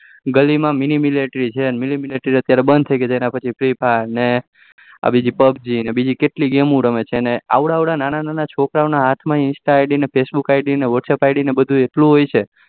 ગલી માં mini military છે mini military તો અતયારે બંધ થઇ ગયી એના પછી free fire PUBG અત્યારે એકેટલી games રમે છે અને આવડા અવળા નાના નાના છોકરા ઓ ના હાથ instaIDwhatsappID માં ઘણું એ હોય